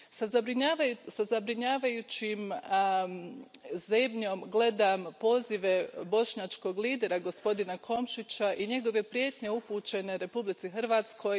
Sa zabrinjavajućom zebnjom gledam pozive bošnjačkog lidera, gospodina Komšića i njegove prijetnje upućene Republici Hrvatskoj.